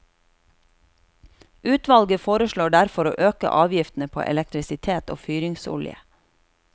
Utvalget foreslår derfor å øke avgiftene på elektrisitet og fyringsolje.